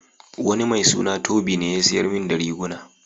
Wani mai suna Tobi ne ya siyar min da riguna.